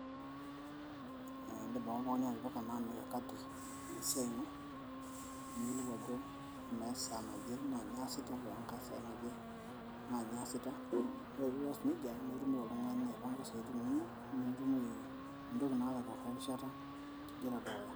ee indim ake oltung'ani atipika naa mikakati naa esiai ino niyiolou ajo amaa esaa naje naa nyoo aasita ore enkay saa naje naa nyoo aasita ore pias nejia naa itumoki oltung'ani aipanga isiatin inonok nimitumoki mintoki naake aituraa erishata tidie Tedukuya.